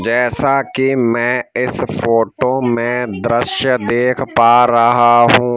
जैसा कि मैं इस फोटो में दृश्य देख पा रहा हूँ।